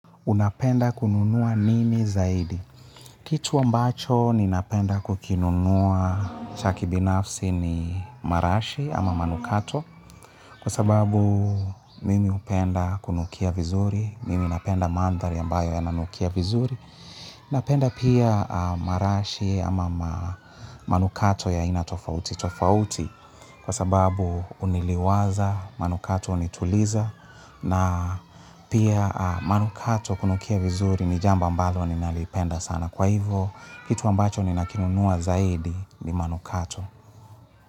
Unapenda kununua nini zaidi. Kitu ambacho ninapenda kukinunua cha kibinafsi ni marashi ama manukato. Kwa sababu mimi hupenda kunukia vizuri. Mimi napenda mandhari ambayo yananukia vizuri. Napenda pia marashi ama manukato ya aina tofauti. Tofauti kwa sababu uniliwaza, manukato unituliza. Na pia manukato kunukia vizuri ni jambo ambalo ninalipenda sana. Kwa hivyo, kitu ambacho ninakinunua zaidi ni manukato.